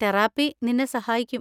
Therapy നിന്നെ സഹായിക്കും.